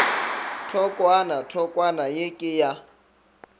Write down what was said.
thokwana thokwana ye ke ya